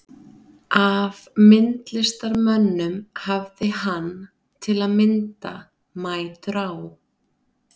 Af myndlistarmönnum hafði hann, til að mynda, mætur á